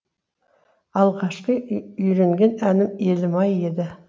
алғашқы үйренген әнім елім ай еді